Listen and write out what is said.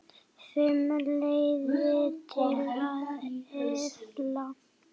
FIMM LEIÐIR TIL AÐ EFLA